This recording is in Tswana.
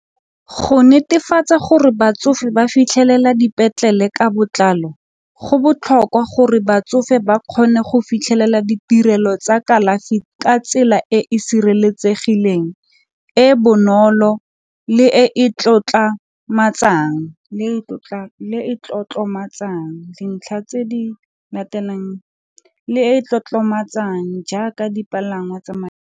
Go netefatsa gore batsofe ba fitlhelela dipetlele ka botlalo go botlhokwa gore batsofe ba kgone go fitlhelela ditirelo tsa kalafi ka tsela e e sireletsegileng e bonolo le e e tlotlomatso jang dintlha tse di latelang le e tlotlomatsa jang jaaka dipalangwa tsa .